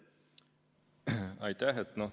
Aitäh!